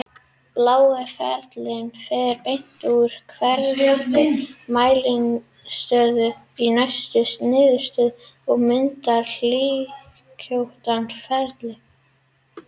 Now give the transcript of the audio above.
Blái ferillinn fer beint úr hverri mæliniðurstöðu í næstu niðurstöðu og myndar hlykkjóttan feril.